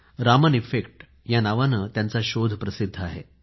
Raman effect या नावाने त्यांचा शोध प्रसिध्द आहे